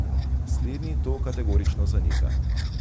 Slednji to kategorično zanika.